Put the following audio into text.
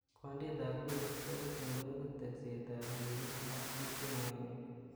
Gwondetab goristo, kotun kooigu teksetab ribik ak bik chemoyoe kiy.